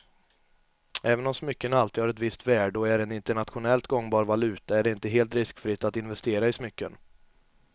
Även om smycken alltid har ett visst värde och är en internationellt gångbar valuta är det inte helt riskfritt att investera i smycken.